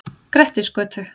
Grettisgötu